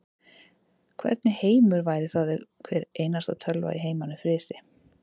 Hvernig heimur væri það ef hvar einasta tölva í heiminum frysi.